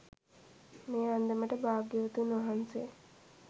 මේ අන්දමට භාග්‍යවතුන් වහන්සේ